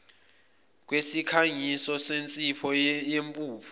kwesikhangiso sensipho eyimpuphu